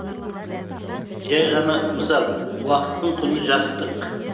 жәй ғана мысал уақыттың құны жастық